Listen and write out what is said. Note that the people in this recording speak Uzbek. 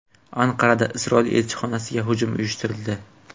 Anqarada Isroil elchixonasiga hujum uyushtirildi.